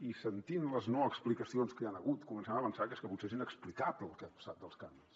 i sentint les no explicacions que hi han hagut comencem a pensar que és que potser és inexplicable el que ha passat amb els canvis